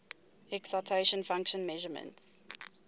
excitation function measurements